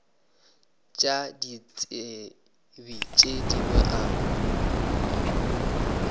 tša ditsebi tše dingwe a